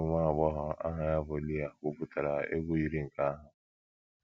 Otu nwa agbọghọ aha ya bụ Leah kwupụtara egwu yiri nke ahụ.